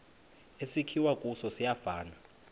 esakhiwe kuso siyafana